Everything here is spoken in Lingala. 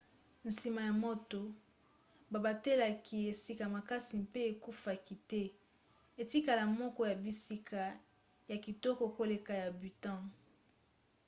nsima ya moto babatelaki esika makasi mpe ekufaki te etikala moko ya bisika ya kitoko koleka ya bhutan